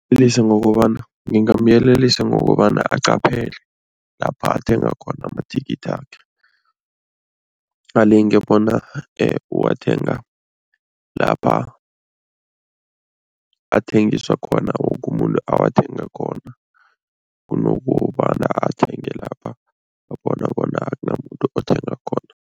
Ngokobana ngingamyelelisa ngokobana aqaphele lapha athenga khona amathikithakhe. Alinge bona uwathenga lapha athengiswa khona, woke umuntu athenga khona kunokobana athenge lapha abona bona akunamuntu othenga khona.